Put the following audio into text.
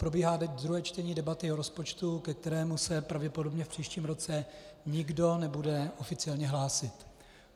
Probíhá teď druhé čtení debaty o rozpočtu, ke kterému se pravděpodobně v příštím roce nikdo nebude oficiálně hlásit.